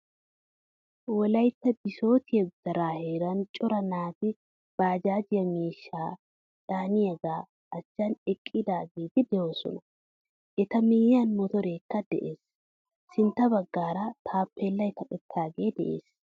Wolaytta bisotiyaa gutara heeran cora naati, baajjajje miishshaa caaniyaga achchan eqqagetti deosona. Eta miyiyan motorekka de'ees. Sintta baggaara taappelay kaqettagekka de'ees.